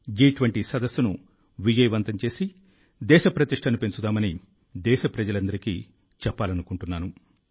జి20 సదస్సును విజయవంతం చేసి దేశ ప్రతిష్టను పెంచుదామని దేశప్రజలందరికీ చెప్పాలనుకుంటున్నాను